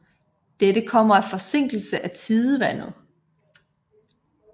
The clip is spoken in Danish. Dette kommer af forsinkelse af tidevandet